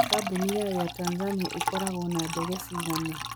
Kambuni ya Air Tanzania ĩkoragwo na ndege cigana?